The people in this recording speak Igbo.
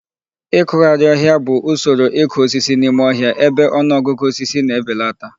Ịkụgharị ọhịa bụ usoro ịkụ osisi n'ime ọhịa ebe ọnụ ọgụgụ osisi na-ebelata.